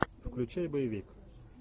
включай боевик